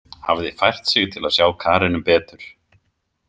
Hafði fært sig til að sjá Karenu betur.